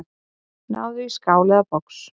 Náðu í skál eða box.